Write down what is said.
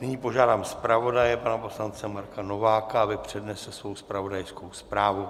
Nyní požádám zpravodaje pana poslance Marka Nováka, aby přednesl svoji zpravodajskou zprávu.